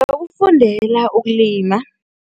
Ngingakufundela ukulima.